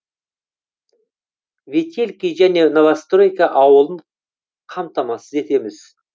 ветелки және новостройка ауылын қамтамасыз етеміз